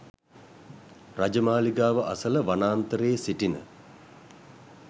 රජ මාලිගාව අසල වනාන්තරයේ සිටින